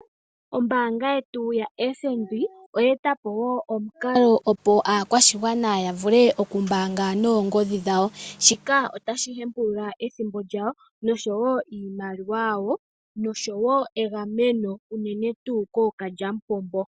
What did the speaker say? Ombanga yetu yaFNB oye etapo omukalo opo aakwashigwana yavule okumbanga noongodhi dhawo shika otashi hempulula ethimbo lyayo nosho yo iimaliwa yawo nosho yo egameno unene tu kokalyampombo.